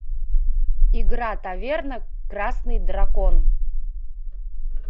игра таверна красный дракон